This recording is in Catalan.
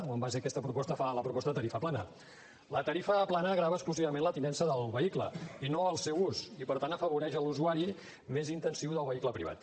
o en base a aquesta proposta fa la proposta de tarifa plana la tarifa plana grava exclusivament la tinença del vehicle i no el seu ús i per tant afavoreix l’usuari més intensiu del vehicle privat